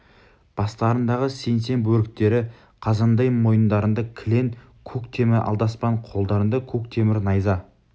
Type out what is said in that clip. бастарындағы сеңсең бөріктері қазандай мойындарында кілең көк темір алдаспан қолдарында көк темір найза